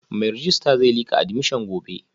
Mai rejista zai lika admission gobe